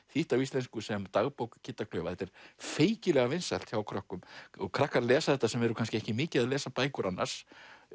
þýtt á íslensku sem dagbók Kidda klaufa þetta er feikilega vinsælt hjá krökkum krakkar lesa þetta sem eru kannski ekki mikið að lesa bækur annars